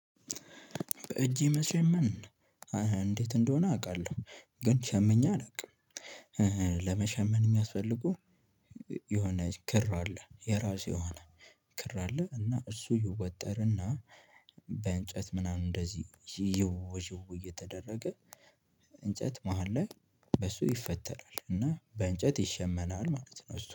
በእጄ መሸመን እንዴት እንደሆነ አውቃለሁ። ግን ሸምኜ አላውቅም። ለመሸመን የሚያስፈልጉ የሆነ ክር አለ የራሱ የሆነ ክር አለ። እና እሱ ይወጠርና በእንጨት ምናምን እንደዚህ ዥው ዥው እየተደረገ እንጨት መሃል ላይ በሱ ይፈተላል። እና በእንጨት ይሸመናል ማለት ነው። እሱ